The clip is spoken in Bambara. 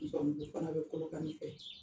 fana bɛ Kolokani fɛ